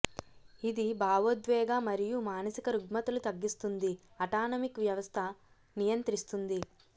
ఇది భావోద్వేగ మరియు మానసిక రుగ్మతలు తగ్గిస్తుంది అటానమిక్ వ్యవస్థ నియంత్రిస్తుంది